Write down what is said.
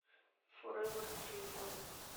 форевер телефон